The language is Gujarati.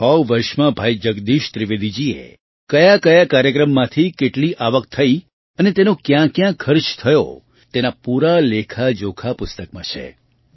છેલ્લાં છ વર્ષમાં ભાઈ જગદીશ ત્રિવેદીજીએ કયાકયા કાર્યક્રમમાંથી કેટલી આવક થઈ અને તેનો ક્યાંક્યાં ખર્ચ થયો તેના પૂરા લેખાજોખા પુસ્તકમાં છે